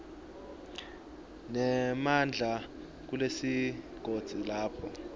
nemandla kulesigodzi lapho